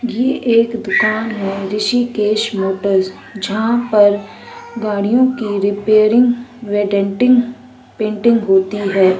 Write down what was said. ये एक दुकान है ऋषिकेश मोटरस जहाँ पर गाड़ियों की रिपेरिंग वे डेंटिंग पेंटिंग होती है।